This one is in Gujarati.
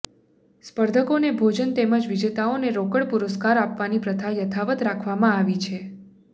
સ્પર્ધકોને ભોજન તેમજ વિજેતાઓને રોકડ પુરસ્કાર આપવાની પ્રથા યથાવત રાખવામા આવી છે